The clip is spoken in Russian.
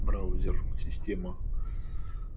браузер система